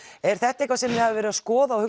er þetta eitthvað sem þið hafið verið að skoða og